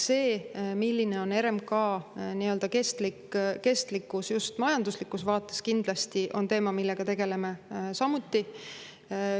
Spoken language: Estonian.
See, milline on RMK nii-öelda kestlikkus just majanduslikus vaates, kindlasti on teema, millega tegeleme samuti.